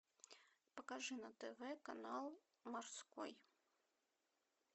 покажи на тв канал морской